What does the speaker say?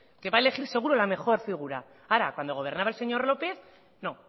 que va a elegir seguro la mejor figura ahora cuando gobernaba el señor lópez no